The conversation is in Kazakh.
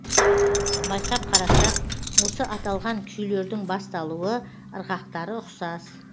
байқап қарасақ осы аталған күйлердің басталуы ырғақтары ұқсас